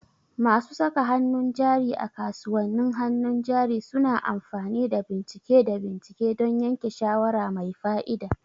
Masu saka hannun jari a kasuwannin hannun jari suna amfani da bincike da bincike don yanke shawara mai fa'ida.